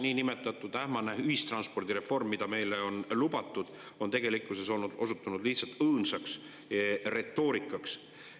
Niinimetatud ähmane ühistranspordireform, mida meile on lubatud, on tegelikkuses osutunud lihtsalt õõnsaks retoorikaks.